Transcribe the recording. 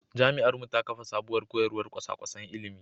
Jami’ar mu ta kafa sabuwar koyarwar kwasa-kwasan ilimi.